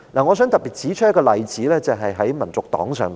我想特別以香港民族黨為例。